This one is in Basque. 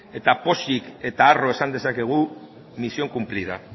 pozik eta harro esan dezakegu misión cumplida